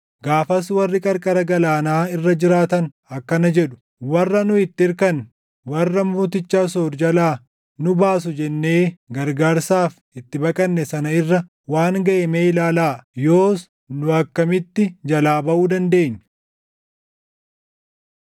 Gaafas warri qarqara galaanaa irra jiraatan akkana jedhu; ‘Warra nu itti irkanne, warra mooticha Asoor jalaa nu baasu jennee gargaarsaaf itti baqanne sana irra waan gaʼe mee ilaalaa! Yoos nu akkamitti jalaa baʼuu dandeenya?’ ”